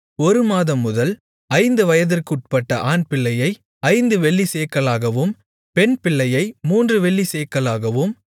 ஒரு மாதம்முதல் ஐந்து வயதிற்கு உட்பட்ட ஆண்பிள்ளையை ஐந்து வெள்ளிச்சேக்கலாகவும் பெண்பிள்ளையை மூன்று வெள்ளிச்சேக்கலாகவும்